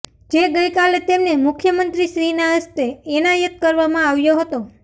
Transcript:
જે ગઇકાલે તેમને મુખ્યમંત્રીશ્રીના હસ્તે એનાયત કરવામાં આવ્યો હતો